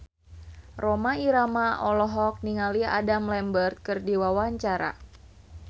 Rhoma Irama olohok ningali Adam Lambert keur diwawancara